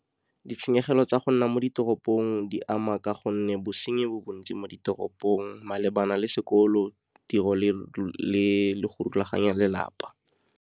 Ditshenyegelo tsa go nna mo ditoropong di ama ka gonne bosenyi bo bontsi mo ditoropong malebana le sekolo, tiro, le go rulaganya lelapa.